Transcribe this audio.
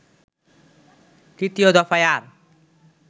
তৃতীয় দফায় আর